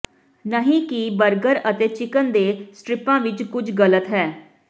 ਨਹੀਂ ਕਿ ਬਰਗਰ ਅਤੇ ਚਿਕਨ ਦੇ ਸਟਰਿਪਾਂ ਵਿਚ ਕੁਝ ਗਲਤ ਹੈ